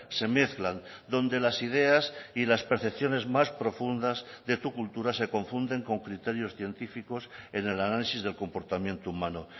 se mezclan donde las ideas y las percepciones más profundas de tu cultura se confunden con criterios científicos en el análisis del comportamiento humano